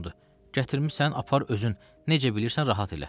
Gətirmisən apar özün, necə bilirsən rahat elə.